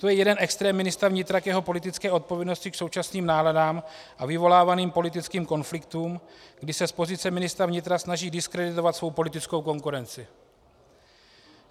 To je jeden extrém ministra vnitra k jeho politické odpovědnosti k současným náladám a vyvolávaným politickým konfliktům, kdy se z pozice ministra vnitra snaží diskreditovat svoji politickou konkurenci.